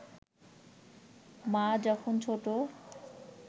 মা যখন ছোট